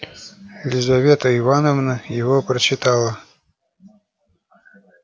лизавета ивановна его прочитала